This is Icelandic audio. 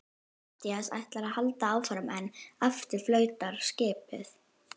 Matthías ætlar að halda áfram en aftur flautar skipið.